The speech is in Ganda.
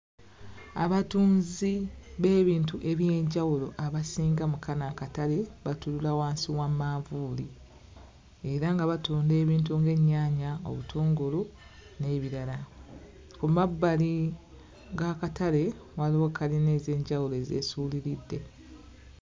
Abatunzi b'ebintu ebyenjawulo abasinga mu kano akatale batuula wansi wa manvuuli. Era nga batunda ebintu ng'ennyaanya, obutungulu n'ebirala. Ku mabbali g'akatale waliwo kalina ez'enjawulo ezeesuuliridde.